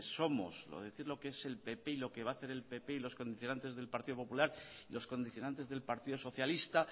somos o decir lo que es el ppy y lo que va hacer el pp y los condicionantes del partido popular los condicionantes del partido socialista